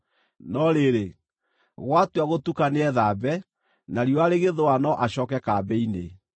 No rĩrĩ, gwatua gũtuka nĩethambe, na riũa rĩgĩthũa no acooke kambĩ-inĩ.